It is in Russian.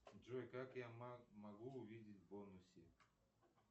джой как я могу увидеть бонусы